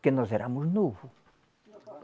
Porque nós éramos novo.